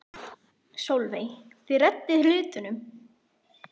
Sólveig: Þið reddið hlutunum?